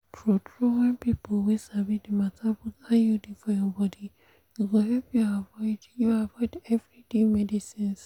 true-true when people wey sabi the matter put iud for your body e go help you avoid you avoid everyday medicines